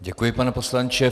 Děkuji, pane poslanče.